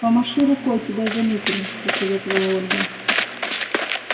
помаши рукой тебя заметили посоветовала ольга